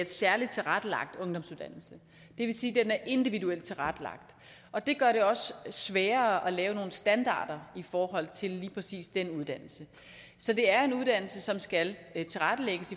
særligt tilrettelagt ungdomsuddannelse det vil sige at den er individuelt tilrettelagt og det gør det også sværere at lave nogle standarder i forhold til lige præcis den uddannelse så det er en uddannelse som skal tilrettelægges